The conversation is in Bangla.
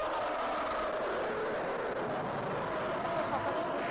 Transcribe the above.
একটা সকালে